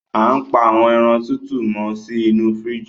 Á n pa àwọn èràn tọtọ mọ si inú fìríjì